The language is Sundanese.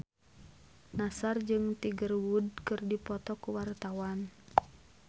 Nassar jeung Tiger Wood keur dipoto ku wartawan